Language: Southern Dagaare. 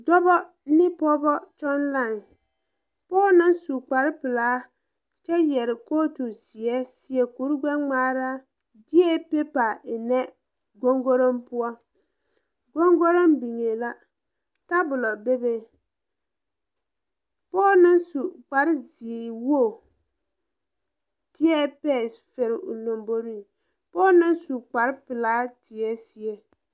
Dɔbɔ ne pɔɔbɔ tɔŋ lai pɔɔ naŋ su kparepilaa kyɛ yɛre kootu zeɛ seɛ kure gbɛngmaara deɛɛ peepa eŋnɛ gongoroŋ poɔ gongoroŋ biŋee la tabolɔ bebe pɔɔ naŋ su kpare zeewoge dwɛɛ pɛɛs fɛre o lomboriŋ pɔɔ naŋ su kparepilaa tēɛɛ seɛ.